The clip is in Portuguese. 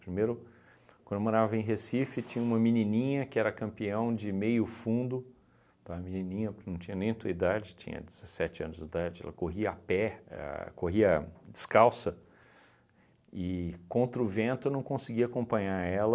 Primeiro, quando eu morava em Recife, tinha uma menininha que era campeão de meio fundo, tá, a menininha que não tinha nem tua idade, tinha dezessete anos de idade, ela corria a pé, a corria descalça, e contra o vento eu não conseguia acompanhar ela.